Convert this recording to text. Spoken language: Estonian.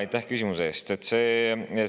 Aitäh küsimuse eest!